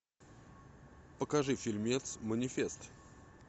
покажи фильмец манифест